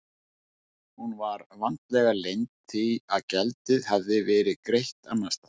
Hún var vandlega leynd því að gjaldið hafði verið greitt annars staðar.